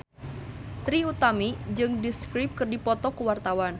Trie Utami jeung The Script keur dipoto ku wartawan